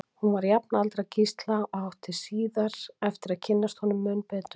Hún var jafnaldra Gísla og átti síðar eftir að kynnast honum mun betur.